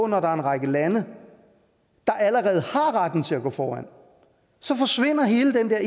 når der er en række lande der allerede har retten til at gå foran så forsvinder hele den der